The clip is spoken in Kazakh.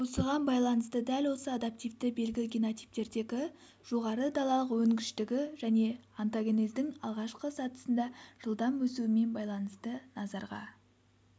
осыған байланысты дәл осы адаптивті белгі генотиптердегі жоғары далалық өнгіштігі және онтогенездің алғашқы сатысында жылдам өсуімен байланысты назарға